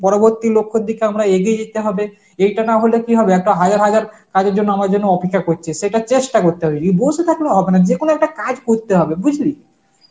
পরবর্তী লক্ষর দিকে আমরা এগিয়ে যেতে হবে. এইটা না হলে কি হবে একটা হাজার হাজার কাজের জন্য আমাদের জন্য অপেক্ষা করছে সেটা চেষ্টা করতে হবে নিয়ে বসে থাকলে হবে না যে কোন একটা কাজ করতে হবে বুঝলি.